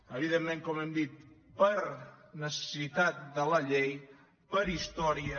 evidentment com hem dit per necessitat de la llei per història